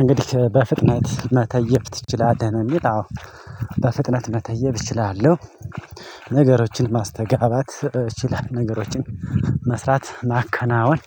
እንግዲህ በፍጥነት መተየብ ትችላለህ ነው የሚል አዎ በፍጥነት መተየብ እችላለሁ። ነገሮችን ማስተጋባት እችላለሁ ነገሮችን መስራት ማከናወን